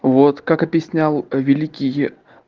вот как объяснял великий